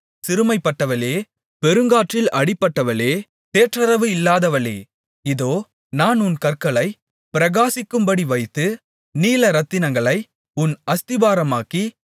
சிறுமைப்பட்டவளே பெருங்காற்றில் அடிபட்டவளே தேற்றரவு இல்லாதவளே இதோ நான் உன் கற்களைப் பிரகாசிக்கும்படி வைத்து நீலரத்தினங்களை உன் அஸ்திபாரமாக்கி